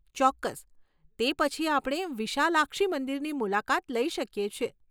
ચોક્કસ, તે પછી આપણે વિશાલાક્ષી મંદિરની મુલાકાત લઈ શકીએ છે .